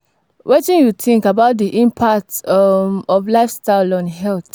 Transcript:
Wetin you think about di impact um of lifestyle on health?